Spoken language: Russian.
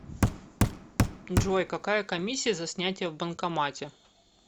джой какая комиссия за снятие в банкомате